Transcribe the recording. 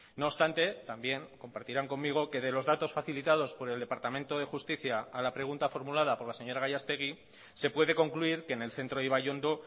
no obstante también compartirán conmigo que de los datos facilitados por el departamento de justicia a la pregunta formulada por la señora gallastegui se puede concluir que en el centro ibaiondo